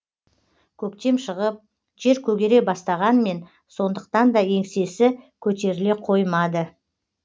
көктем шығып жер көгере бастағанмен сондықтанда еңсесі көтеріле қоймады